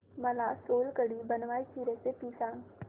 मला सोलकढी बनवायची रेसिपी सांग